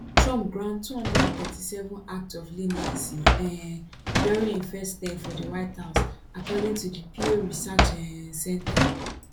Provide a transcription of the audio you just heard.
trump grant 237 acts of leniency um during im first term for di white house according to di pew research um center